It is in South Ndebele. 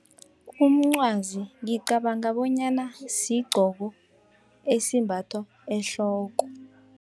Umncwazi ngicabanga bonyana sigcoko esimbathwa ehloko.